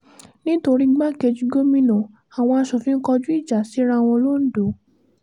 nítorí igbákejì gómìnà àwọn asòfin kọjú ìjà síra wọn londo